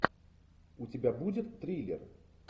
у тебя будет триллер